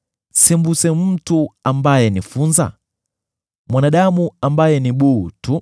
sembuse mtu ambaye ni funza: mwanadamu ambaye ni buu tu!”